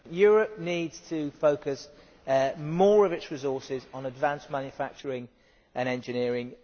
Mr President, Europe needs to focus more of its resources on advanced manufacturing and engineering.